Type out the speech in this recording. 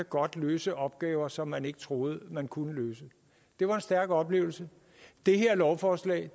godt kan løse opgaver som man ikke troede man kunne løse det var en stærk oplevelse det her lovforslag